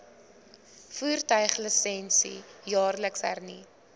voertuiglisensie jaarliks hernu